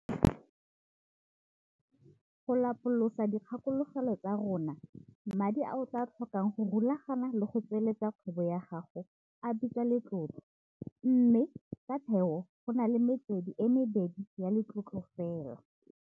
Go lapolosa dikgakologelo tsa rona. Madi a o tlaa a tlhokang go rulagana le go tsweleletsa kgwebo ya gago a bitswa letlotlo. Mme, ka theo go na le metswedi e mebedi ya letlotlo fela.